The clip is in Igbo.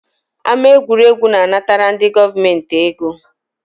Ámá egwuregwu na-anatara ndị gọọmenti ego